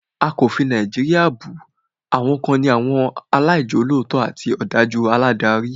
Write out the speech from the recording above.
A kò fi Nàìjíríà bù, àwa kàn ní àwọn aláìjolótó àti òdájú aládarí